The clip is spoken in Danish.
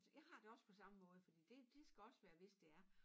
Jeg har det også på samme måde for det det skal også være hvis det er